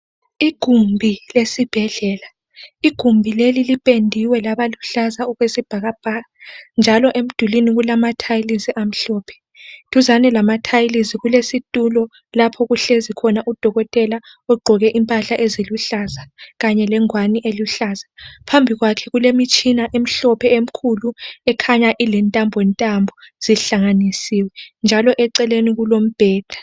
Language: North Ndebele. Igumbi lesibhedlela igumbi leli lipendiwe laba luhlaza okwesibhakabhaka njalo emdulwini kulama tiles amhlophe duzane lama tiles kulesitulo lapho okuhlezi khona udokotela ogqoke impahla eziluhlaza kanye lengwane eluhlaza phambi kwakhe kulemitshina emhlophe emkhulu ekhanya ilentambo ntambo zihlanganisiwe njalo eceleni kulombheda.